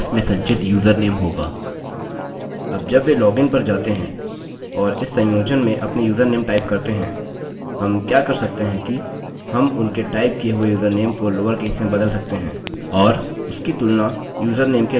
अब जब वे लॉगिन पर जाते हैं और इस संयोजन में अपने यूज़रनेम टाइप करते हैं हम क्या कर सकते हैं कि हम उनके टाइप किए हुए यूज़रनेम को लोअरकेस में बदल सकते हैं और उसकी तुलना यूज़रनेम के लोअरकेस वर्ज़न से कर सकते हैं